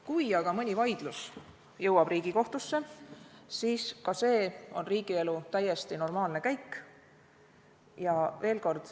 Kui aga mõni vaidlus jõuab Riigikohtusse, siis ka see on riigielu täiesti normaalne käik.